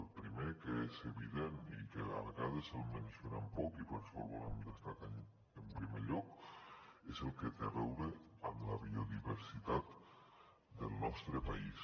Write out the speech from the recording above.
el primer que és evident i que a vegades el mencionem poc i per això el volem destacar en primer lloc és el que té a veure amb la biodiversitat del nostre país